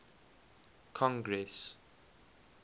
congress